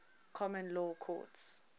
common law courts